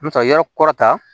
N bɛ taa yɔrɔ kɔrɔ ta